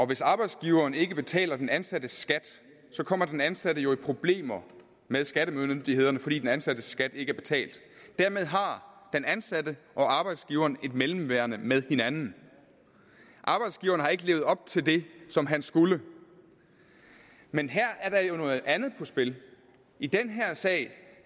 hvis arbejdsgiveren ikke betaler den ansattes skat kommer den ansatte jo i problemer med skattemyndighederne fordi den ansattes skat ikke er betalt dermed har den ansatte og arbejdsgiveren et mellemværende med hinanden arbejdsgiveren har ikke levet op til det som han skulle men her er der jo noget andet på spil i den her sag